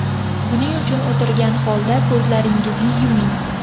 Buning uchun o‘tirgan holda ko‘zlaringizni yuming.